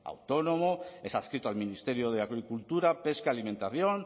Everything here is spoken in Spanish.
autónomo es adscrito al ministerio de agricultura pesca y alimentación